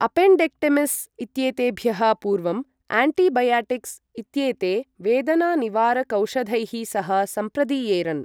Appendectomies इत्येतेभ्यः पूर्वं antibiotics इत्येते वेदनानिवारकौषधैः सह संप्रदीयेरन्।